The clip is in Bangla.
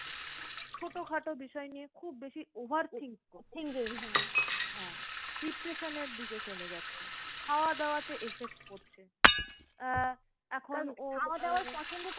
ছোটোখাটো বিষয় নিয়ে খুব বেশি over thinking হ্যাঁ depression এর দিকে চলে যাচ্ছে। খাওয়া দাওয়া তে effect পড়ছে। আহ এখন ও